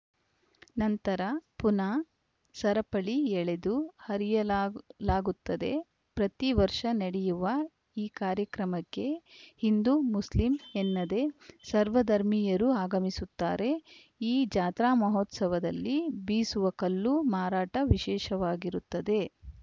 ನಂತರ ಪುನಃ ಸರಪಳಿ ಎಳೆದು ಹರಿಯಲಾಗ್ ಲಾಗುತ್ತದೆ ಪ್ರತಿ ವರ್ಷ ನಡೆಯುವ ಈ ಕಾರ್ಯಕ್ರಮಕ್ಕೆ ಹಿಂದೂ ಮುಸ್ಲಿಂ ಎನ್ನದೆ ಸರ್ವ ಧರ್ಮೀಯರು ಆಗಮಿಸುತ್ತಾರೆ ಈ ಜಾತ್ರಾ ಮಹೋತ್ಸವದಲ್ಲಿ ಬೀಸುವ ಕಲ್ಲು ಮಾರಾಟ ವಿಶೇಷವಾಗಿರುತ್ತದೆ